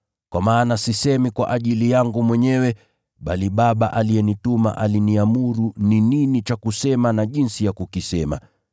Kwa maana sisemi kwa ajili yangu mwenyewe, bali Baba aliyenituma aliniamuru ni nini cha kusema na jinsi ya kukisema.